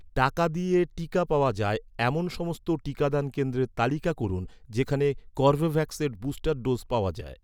টাকা দিয়ে টিকা পাওয়া যায়, এমন সমস্ত টিকাদান কেন্দ্রের তালিকা করুন, যেখানে কর্বেভ্যাক্সের বুস্টার ডোজ পাওয়া যায়